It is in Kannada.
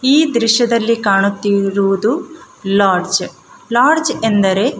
ಈ ದೃಶ್ಯದಲ್ಲಿ ಕಾಣುತ್ತಿರುವುದು ಲಾಡ್ಜ್ ಲಾಡ್ಜ್ ಎಂದರೆ--